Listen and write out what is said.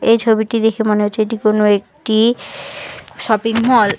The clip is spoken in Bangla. এ ছবিটি দেখে মনে হচ্ছে এটি কোনো একটি শপিং মল ।